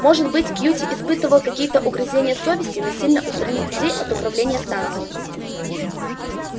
может быть кьюти испытывал какие-то угрызения совести насильно устранив людей от управления станцией